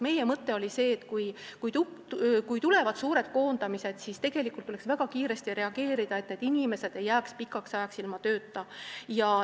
Meie mõte oli see, et kui tulevad suured koondamised, siis tuleks väga kiiresti reageerida, et inimesed ei jääks pikaks ajaks ilma tööta.